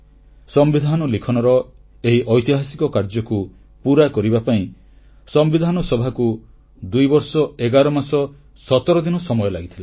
ସମ୍ବିଧାନ ଲିଖନର ଏହି ଐତିହାସିକ କାର୍ଯ୍ୟକୁ ପୁରା କରିବା ପାଇଁ ସମ୍ବିଧାନ ସଭାକୁ ଦୁଇବର୍ଷ ଏଗାରମାସ ସତରଦିନ ସମୟ ଲାଗିଥିଲା